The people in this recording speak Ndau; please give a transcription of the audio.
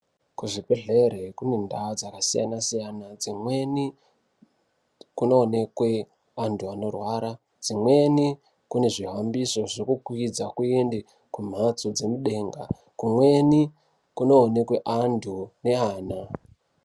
Kuzvibhehlera kune ndau dzakasiyana siyana, dzimweni kunoonekwe antu anorwara. Dzimweni kune zvihambiso zvekukwidza kuende kumhatso dzemudenga. Kumweni kunoonekwe antu neana.